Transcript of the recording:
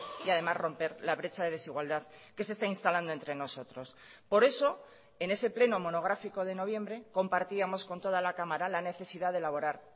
y además romper la brecha de desigualdad que se está instalando entre nosotros por eso en ese pleno monográfico de noviembre compartíamos con toda la cámara la necesidad de elaborar